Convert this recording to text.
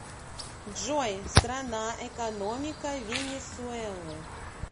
джой страна экономика венесуэлы